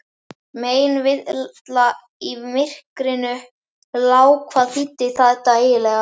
Meinvilla í myrkrinu lá hvað þýddi þetta eiginlega?